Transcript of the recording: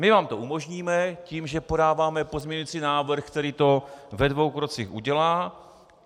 My vám to umožníme tím, že podáváme pozměňující návrh, který to ve dvou krocích udělá.